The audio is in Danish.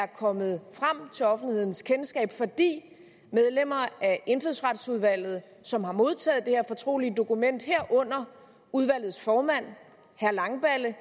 kommet frem til offentlighedens kendskab fordi medlemmer af indfødsretsudvalget som har modtaget det her fortrolige dokument herunder udvalgets formand herre langballe